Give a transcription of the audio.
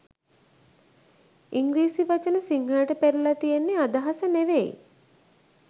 ඉංග්‍රීසි වචන සිංහලට පෙරලල තියෙන්නෙ අදහස නෙවෙයි